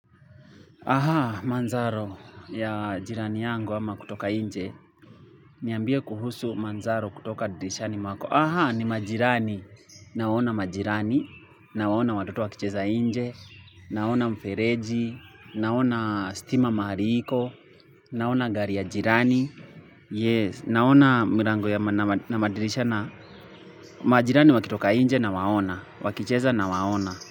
Aha, manzaro ya jirani yangu ama kutoka nje, niambie kuhusu manzaro kutoka dirishani mwako. Aha, ni majirani. Naona majirani, nawaona watoto wakicheza nje, naona mfereji, naona stima mahari iko, naona gari ya jirani. Yes, naona milango ya madirisha na majirani wakitoka nje nawaona, wakicheza na waona.